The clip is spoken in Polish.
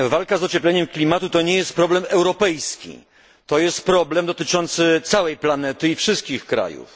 Walka z ociepleniem klimatu to nie jest problem europejski, to jest problem dotyczący całej planety i wszystkich krajów.